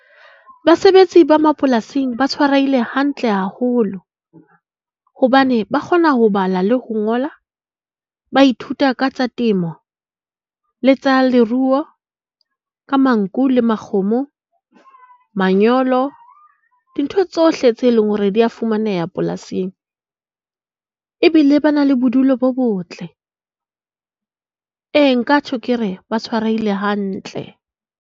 Basebetsi ba mapolasing ba tshwarehile hantle haholo hobane ba kgona ho bala le ho ngola. Ba ithuta ka tsa temo le tsa leruo. Ka manku le makgomo, manyolo le ntho tsohle tseo e leng hore di a fumaneha polasing. Ebile ba na le bodulo bo botle. Ee, nka tjho ke re ba tshwarehile hantle.